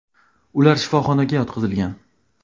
Ular shifoxonaga yotqizilgan.